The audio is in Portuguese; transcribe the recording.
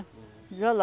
Uhum. E